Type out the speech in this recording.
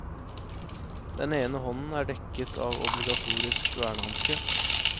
Den ene hånden er dekket av obligatorisk vernehanske.